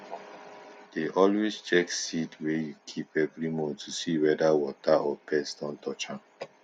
dey always check seed wey you keep every month to see whether water or pest don touch dem